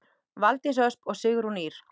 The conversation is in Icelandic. Valdís Ösp og Sigrún Ýr.